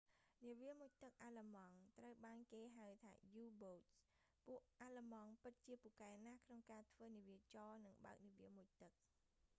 នាវាមុជទឹកអាល្លឺម៉ង់ ត្រូវបានគេហៅថា u-boats ពួកអាល្លឺម៉ង់ ពិតជាពូកែណាស់ក្នុងការធ្វើនាវាចរ និងបើកនាវាមុជទឹក